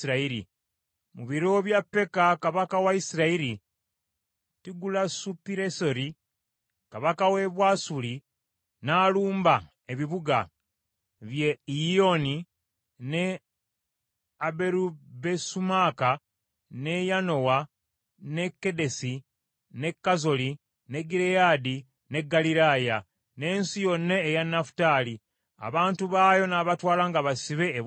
Mu biro bya Peka kabaka wa Isirayiri, Tigulasupireseri kabaka w’e Bwasuli n’alumba ebibuga: by’e Iyoni, n’e Aberubesumaaka, n’e Yanoa, n’e Kedesi, n’e Kazoli, n’e Gireyaadi n’e Ggaliraaya, n’ensi yonna eya Nafutaali, abantu baayo n’abatwala nga basibe e Bwasuli.